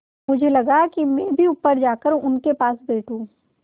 मुझे लगा कि मैं भी ऊपर जाकर उनके पास बैठूँ